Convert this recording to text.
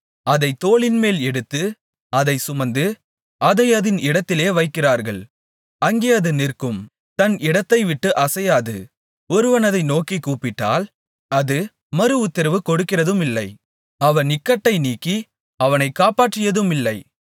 அதைத் தோளின்மேல் எடுத்து அதைச் சுமந்து அதை அதின் இடத்திலே வைக்கிறார்கள் அங்கே அது நிற்கும் தன் இடத்தைவிட்டு அசையாது ஒருவன் அதை நோக்கிக் கூப்பிட்டால் அது மறுஉத்திரவு கொடுக்கிறதுமில்லை அவன் இக்கட்டை நீக்கி அவனை காப்பாற்றியதுமில்லை